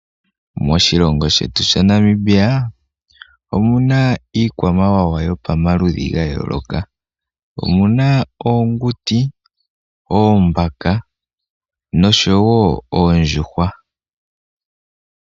Moshilongo shetu sha Namibia omuna ikwamawawa ya pama ludhi ga yooloka. Omuna oonguti, oombaka nosho woo oondjuhwa.